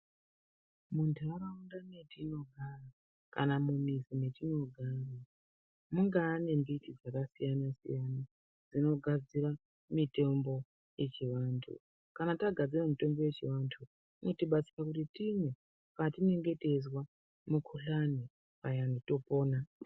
Muntaraunda metinogara kana mumizi mwetinogara mungaa nemiti dzakasiyana siyana inogadzira mitombo yechivantu kana tagarzira mutombo yechivantu inotibatsira kuti timwe patinenge teizwa mukhuhlani payani topona.